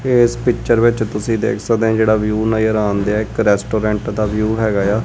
ਏਸ ਪਿੱਚਰ ਵਿੱਚ ਤੁਸੀ ਦੇਖ ਸਕਦੇ ਆਂ ਜਿਹੜਾ ਵਿਊ ਨਜ਼ਰ ਆਣਦਿਐ ਇੱਕ ਰੈਸਟੂਰੈਂਟ ਦਾ ਵਿਊ ਹੈਗਾ ਏ ਆ।